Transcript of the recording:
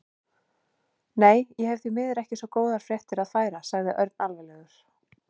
Nei, ég hef því miður ekki svo góðar fréttir að færa sagði Örn alvarlegur.